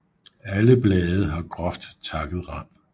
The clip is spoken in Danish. Alle blade har groft takket rand